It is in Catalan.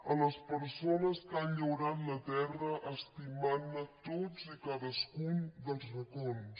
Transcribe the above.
a les persones que han llaurat la terra estimant ne tots i cadascun dels racons